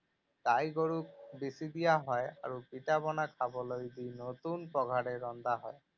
গাই গৰুক বিচি দিয়া হয় আৰু পিঠা পনা খাবলৈ দি নতুন পঘাৰে বন্ধা হয়।